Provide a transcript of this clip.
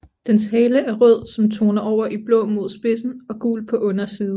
Dens hale er rød som toner over i blå mod spidsen og gul på underside